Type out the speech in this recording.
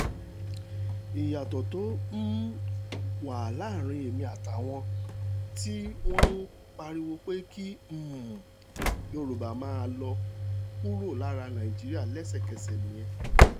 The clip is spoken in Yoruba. ìyàtọ̀ tó um wà láàrin èmi àtàwọn tí wọ́n ń pariwo pé kí um yorùbá máa lọ kúrò lára nàìjíríà lẹ́sẹ̀kẹsẹ̀ nìyẹn